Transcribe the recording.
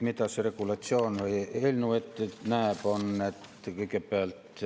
Mida see regulatsioon või eelnõu ette näeb?